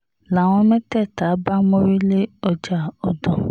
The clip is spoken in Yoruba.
làwọn mẹ́tẹ̀ẹ̀ta bá mórí lé lé ọjà ọ̀dàn